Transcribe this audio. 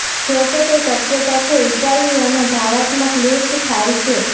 જોકે તે શક્યતા છે ઈટાલિયનો ભાવનાત્મક લિફ્ટ થાય છે